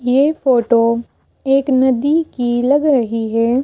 ये फोटो एक नदी की लग रही है।